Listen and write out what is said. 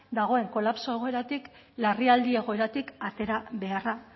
dagoen kolapso egoeratik larrialdi egoeratik atera beharra